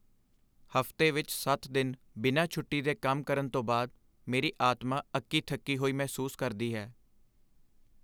ਹਫ਼ਤੇ ਵਿੱਚ ਸੱਤ ਦਿਨ ਬਿਨਾਂ ਛੋਟੀ ਦੇ ਕੰਮ ਕਰਨ ਤੋਂ ਬਾਅਦ ਮੇਰੀ ਆਤਮਾ ਅੱਕੀ ਥੱਕੀ ਹੋਈ ਮਹਿਸੂਸ ਕਰਦੀ ਹੈ